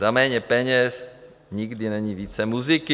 Za méně peněz nikdy není více muziky.